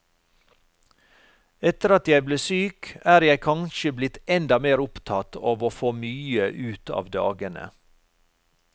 Etter at jeg ble syk, er jeg kanskje blitt enda mer opptatt av å få mye ut av dagene.